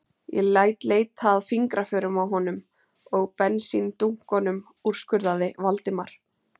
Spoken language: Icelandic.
Ég læt leita að fingraförum á honum og bensíndunkunum- úrskurðaði Valdimar.